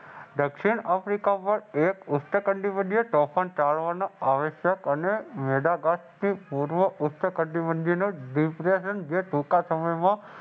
દક્ષિણ આફ્રિકામાં બે બદલે આવશ્યક અન